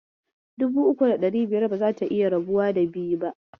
Dubu uku da biyar bazata iya rabuwa da biyu ba.